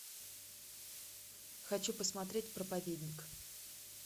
хочу посмотреть проповедник